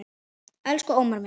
Elsku Ómar minn.